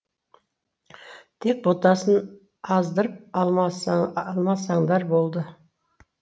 тек ботасын аздырып алмасаңдар болды